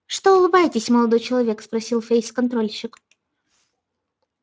что улыбаетесь молодой человек спросил фейсконтрольщик